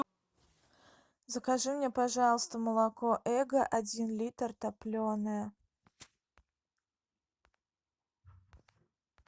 закажи мне пожалуйста молоко эго один литр топленое